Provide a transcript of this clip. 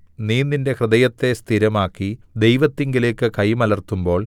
നീ നിന്റെ ഹൃദയത്തെ സ്ഥിരമാക്കി ദൈവത്തിങ്കലേക്ക് കൈമലർത്തുമ്പോൾ